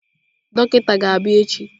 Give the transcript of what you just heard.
Dọkịta ga-abịa echi.